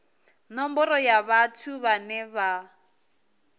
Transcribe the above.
nomboro ya vhathu vhane vha